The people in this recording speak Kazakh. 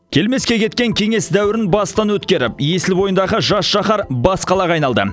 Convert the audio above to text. келмеске кеткен кеңес дәуірін бастан өткеріп есіл бойындағы жас шаһар бас қалаға айналды